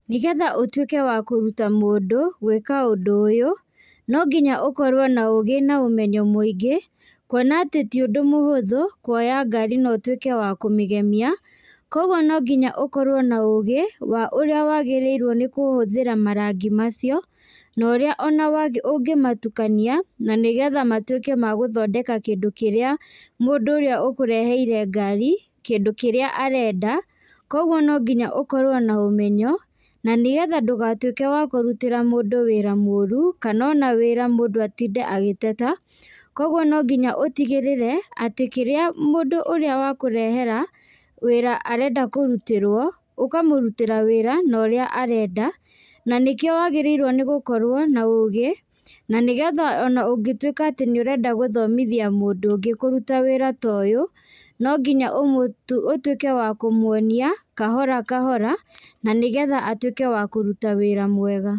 Nĩgetha ũtuĩke wa kũruta mũndũ gwĩka ũndũ ũyũ, nonginya ũkorwo na ũgĩ na ũmenyo mũingĩ, kuona atĩ ti ũndũ mũhũthu, kuoya ngari na ũtuĩke wa kũmĩgemia, koguo nonginya ũkorwo na ũgĩ, wa ũrĩa wagĩrĩirwo nĩ kũhũthĩra marangi macio, ona ũrĩa ona ũngĩmatukania, na nĩgetha matuĩke ma gũthondeka kĩndũ kĩrĩa mũndũ ũrĩa ũkũreheire ngari, kĩndũ kĩrĩa arenda, koguo nonginya ũkorwo na ũmenyo, na nĩgetha ndũgatuĩke wa kũrutĩra mũndũ wĩra mũru, kana ona wĩra mũndũ atinde agĩteta, koguo nonginya ũtigĩrĩre atĩ kĩrĩa mũndũ ũrĩa wakũrehera, wĩra arenda kũrutĩrwo, ũkamũrutĩra wĩra na ũrĩa arenda, na nĩkĩo wagĩrĩirwo gũkorwo na ũgĩ, na nĩgetha ona ũngĩtuĩka atĩ nĩũrenda gũthomithia mũndũ ũngĩ kũruta wĩra ta ũyũ, nonginya ũmũtũ ũtuĩke wa kũmwonia kahora kahora, na nĩgetha atuĩke wa kũruta wĩra mwega.